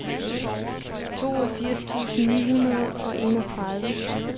toogfirs tusind ni hundrede og enogtredive